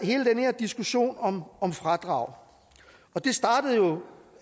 hele den her diskussion om om fradrag og den startede jo